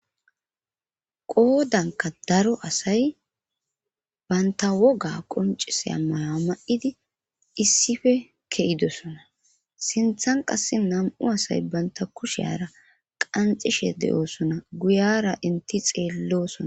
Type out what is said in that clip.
qoodanka daro asay baynta woga qonciseya maya ma7idi issife ke7idosona sinthan qasse nam7u asay banta kusheara qanxishe de7oosona guyara inti xeellosona